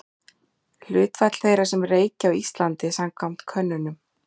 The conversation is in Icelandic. hlutfall þeirra sem reykja á íslandi samkvæmt könnunum